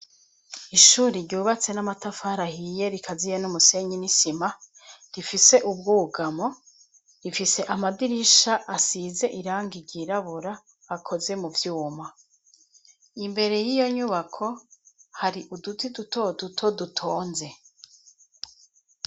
Ishure ryubatswe n'amatafari ahiye rikaziye n'umusenyi n'isima rifise ubwugamo, rifise amadirisha asize irangi ry'irabura akozwe muvyuma imbere yiyo nyubako hari uduti duto duto dutonze.